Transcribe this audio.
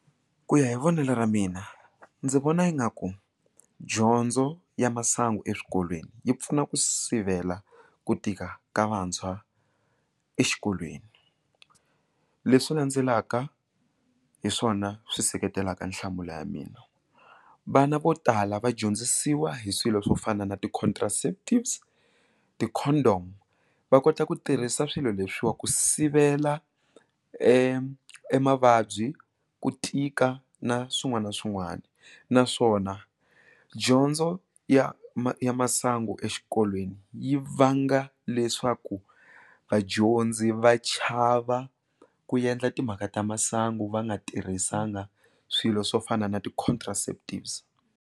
Ku ya hi vonelo ra mina ndzi vona ingaku dyondzo ya masangu eswikolweni yi pfuna ku sivela ku tika ka vantshwa exikolweni leswi landzelaka hi swona swi seketelaka nhlamulo ya mina, vana vo tala va dyondzisiwa hi swilo swo fana na ti-contraceptives ti-condom va kota ku tirhisa swilo leswiwa ku sivela e emavabyi ku tika na swin'wana na swin'wana naswona dyondzo ya masangu exikolweni yi vanga leswaku vadyondzi va chava ku endla timhaka ta masangu va nga tirhisanga swilo swo fana na ti-contraceptives.